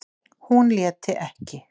Hún léti ekki